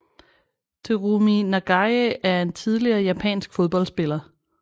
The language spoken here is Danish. Terumi Nagae er en tidligere japansk fodboldspiller